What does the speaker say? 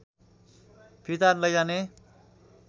फिर्ता लैजाने